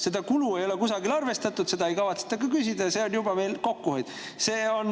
Seda kulu ei ole kusagil arvestatud, seda ei kavatseta küsida ja see on meil nüüd kokkuhoid.